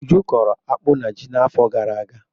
Uju kọrọ akpụ na ji n'afọ gara aga.